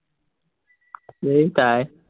এৰ তাই